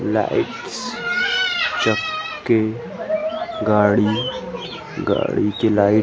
lights चक्की गाड़ी गाड़ी की लाइट --